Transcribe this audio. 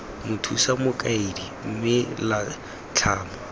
mothusa mokaedi mme la tlhama